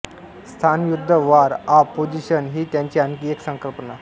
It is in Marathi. स्थानयुद्ध वॉर ऑफ पोझिशन ही त्याची आणखी एक संकल्पना